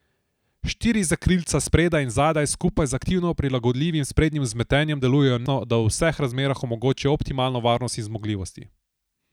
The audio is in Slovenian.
Štiri zakrilca spredaj in zadaj skupaj z aktivno prilagodljivim sprednjim vzmetenjem delujejo neodvisno, da v vseh razmerah omogočijo optimalno varnost in zmogljivosti.